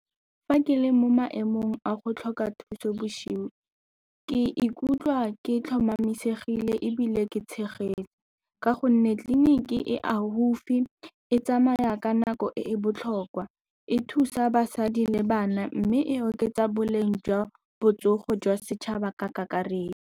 Fa ke le mo maemong a go tlhoka thuso boshigo, ke ikutlwa ke tlhomamisege tlile ebile ke tshegetso ka gonne tleliniki e gaufi e tsamaya ka nako e e botlhokwa, e thusa basadi le bana mme e oketsa boleng jwa botsogo jwa setšhaba ka kakaretso.